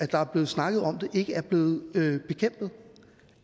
der er blevet snakket om det ikke er blevet bekæmpet